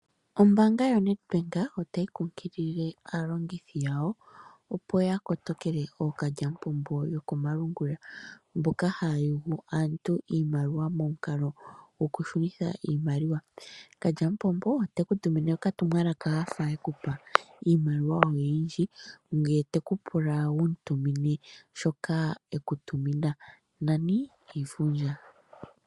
Ombaanga yoNedbank otayi kunkilile aalongithi yawo, opo ya kotokele ookalyamupombo yokomalungula mboka haya yugu aantu iimaliwa momukalo gokushunitha iimaliwa. Kalyamupombo ote ku tumine okatumwalaka a fa e ku pa iimaliwa oyindji ye te ku pula wu mu tumine shoka e ku tumina, nani iifundja.